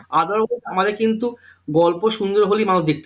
Other হোক আমাদের কিন্তু গল্প সুন্দর হলেই মানুষ দেখতে চাই